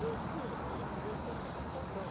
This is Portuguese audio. Eu ensino, mas o japonês tem complicação.